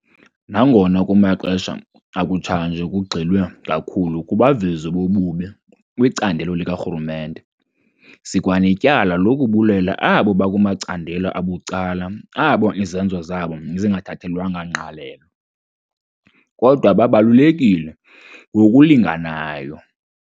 Nangona kumaxesha akutshanje kugxilwe kakhulu kubavezi bobubi kwicandelo likarhulumente, sikwanetyala lokubulela abo bakumacandelo abucala abo izenzo zabo zingathathelwanga ngqalelo, kodwa babalulekile ngokulinganayo.